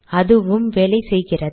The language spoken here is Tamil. அதுவும் வேலை செய்கிறது